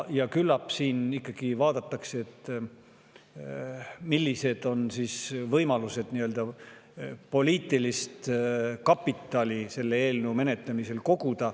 Küllap siin ikkagi vaadatakse, millised on võimalused koguda nii-öelda poliitilist kapitali selle eelnõu menetlemisel.